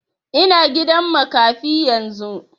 Ina gidan makafi yanzu